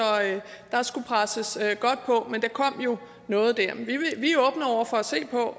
der skulle presses godt på men der kom jo noget der